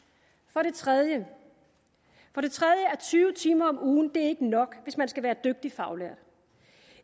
for det tredje er tyve timer om ugen ikke nok hvis man skal være dygtig faglært